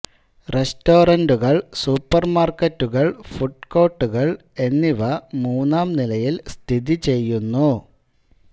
റെസ്റ്റോറന്റുകൾ സൂപ്പർമാർക്കറ്റുകൾ ഫുഡ് കോർട്ടുകൾ എന്നിവ മൂന്നാം നിലയിൽ സ്ഥിതിചെയ്യുന്നു